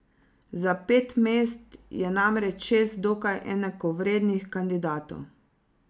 Za pet mest je namreč šest dokaj enakovrednih kandidatov.